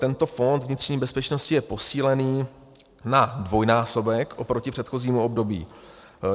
Tento fond vnitřní bezpečnosti je posílený na dvojnásobek oproti předchozímu období.